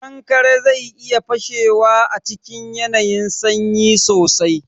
Kankare zai iya fashewa a cikin yanayin sanyi sosai.